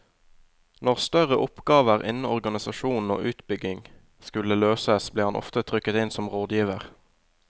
Når større oppgaver innen organisasjon og utbygging skulle løses, ble han ofte trukket inn som rådgiver.